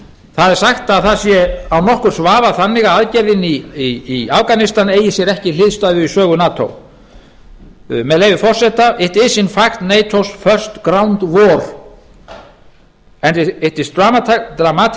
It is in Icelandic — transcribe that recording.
það er sagt að það sé án nokkurs vafa þannig að aðgerðin í afganistan eigi sér ekki hliðstæðu í sögu nato með leyfi forseta it is in fact natos first ground war and it is dramatically